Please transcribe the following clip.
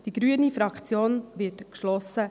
Die grüne Fraktion wird geschlossen